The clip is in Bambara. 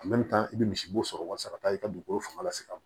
i bɛ misi bo sɔrɔ walasa ka taa i ka dugukolo fanga se ka